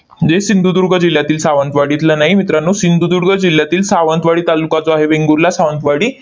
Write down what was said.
जे सिंधुदुर्ग जिल्ह्यातील सावंतवाडीतलं नाही मित्रांनो, सिंधुदुर्ग जिल्ह्यातील सावंतवाडी तालुका जो आहे वेंगुर्ला, सावंतवाडी